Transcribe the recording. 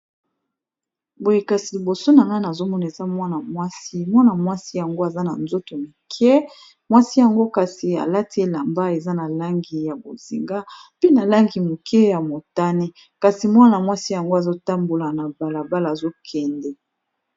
boye kasi liboso na nane azomona esa mwana mwasi mwana mwasi yango aza na nzoto mike mwasi yango kasi alati elamba eza na langi ya bozinga mpe na langi moke ya motane kasi mwana-mwasi yango azotambola na balabala azokende